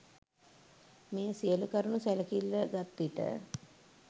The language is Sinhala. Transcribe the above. මේ සියලු කරුණු සැලකිල්ල ගත් විට